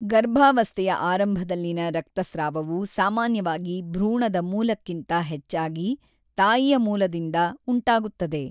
ಗರ್ಭಾವಸ್ಥೆಯ ಆರಂಭದಲ್ಲಿನ ರಕ್ತಸ್ರಾವವು ಸಾಮಾನ್ಯವಾಗಿ ಭ್ರೂಣದ ಮೂಲಕ್ಕಿಂತ ಹೆಚ್ಚಾಗಿ, ತಾಯಿಯ ಮೂಲದಿಂದ ಉಂಟಾಗುತ್ತದೆ.